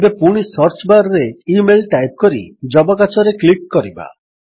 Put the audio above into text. ଏବେ ପୁଣି search bar ରେ ଇମେଲ୍ ଟାଇପ୍ କରି ଯବକାଚରେ କ୍ଲିକ୍ କରିବା